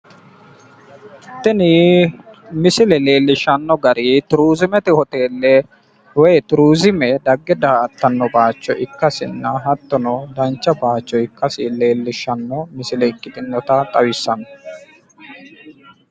Tini misile leellishshanno gari turiizimete hoteelle woyi turiizime dagge da'aattanno baayicho ikkasinna hattono dancha baayicho ikkasi leellishshanno misile ikkitinota xawissanno.